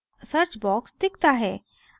search box दिखता है